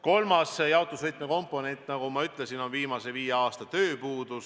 Kolmas jaotusvõtme komponent, nagu ma ütlesin, on viimase viie aasta tööpuudus.